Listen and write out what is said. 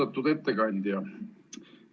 Austatud ettekandja!